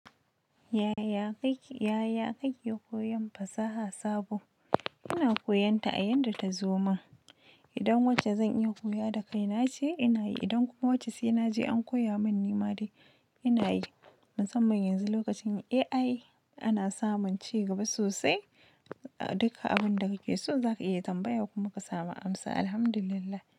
Yaya kake koyon fasaha sabo? Ina koyan ta a yanda ta zo min. Idan wacce zan iya koya da kai na ce ina yi, idan kuma wacce sainaje an koya mun ni ma dai ina yi. Mu san man yanzu lokacin AI ana samun ci gaba sosai. Duka abun da kake so za ka iya tambaya kuma ka samu amsa Alhamdulillah.